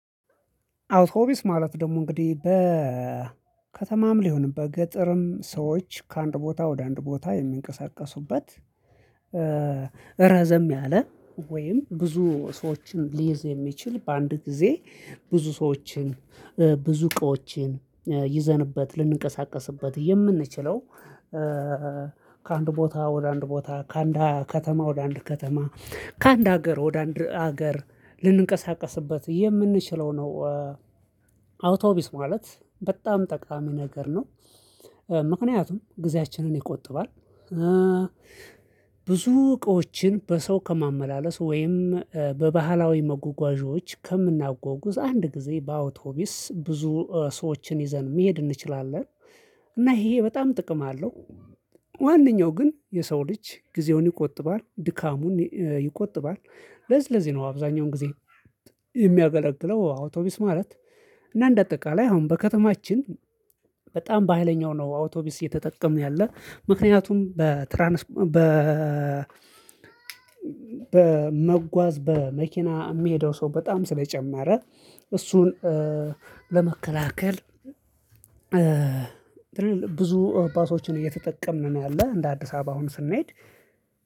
አውቶቢስ ማለት ደግሞ እንግዲህ በከተማም ሊሆንበት በገጠርም ሰዎች ከአንድ ቦታ ወደ አንድ ቦታ የሚንቀሳቀሱበት ረዘም ያለ ወይም ብዙ ሰዎችን ሊይዝ የሚችል በአንድ ጊዜ ብዙ ሰዎችን ብዙ እቃዎችን ይዘንበት ልንቀሳቀስበት የምንችለው ከአንድ ቦታ ወደ አንድ ቦታ ከአንድ ከተማ ወደ አንድ ከተማ ከአንድ ሀገር ወደ አንድ ሀገር ልንቀሳቀስበት የምንችለው ነው። አውቶቡስ ማለት በጣም ጠቅላላ ነገር ነው። ምክንያቱም ጊዜያችንን ይቆጥባል። ብዙ እቃዎችን በሰው ከማመላለስ ወይም በባህላዊ መጓጓዦች ከምናጓጉዝ አንድ ጊዜ በአውቶቢስ ብዙ ሰዎችን ይዘን መሄድ እንችላለን። እና ይሄ በጣም ጥቅም አለው። ዋነኛው ግን የሰው ልጅ ጊዜውን ይቆጥባል። ድካሙን ይቆጥባል። ለዝለዚ ነው አብዛኛውን ጊዜ የሚያገለግለው አውቶቢስ ማለት። እና እንደ አጠቃላይ አሁን በከተማችን በጣም በሃይለኛው ነው አውቶቡስ እየተጠቀምን ያለን። ምክንያቱም በትራንስ በ በመጓዝ በመኪና የሚሄደው ሰው በጣም ስለጨመረ እሱን ለመከላከል ብዙ ባሶችን እየተጠቀምን ነው ያለን እንደ አዲስ አበባ አሁን ስንሄድ